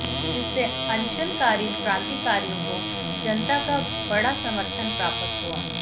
इससे अनशनकारी क्रांतिकारियों को जनता का बड़ा समर्थन प्राप्त हुआ